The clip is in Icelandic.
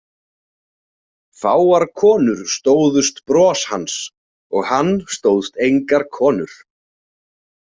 Fáar konur stóðust bros hans og hann stóðst engar konur.